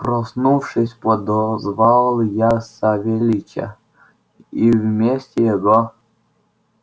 проснувшись подозвал я савельича и вместе его